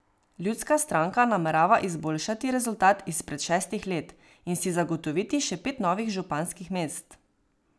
Ljudska stranka namerava izboljšati rezultat izpred šestih let in si zagotoviti še pet novih županskih mest.